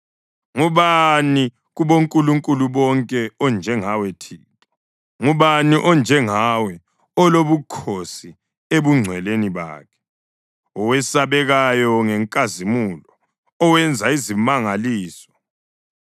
Ngubani kubonkulunkulu bonke onjengawe, Thixo? Ngubani onjengawe, olobukhosi ebungcweleni bakhe, owesabekayo ngenkazimulo, owenza izimangaliso?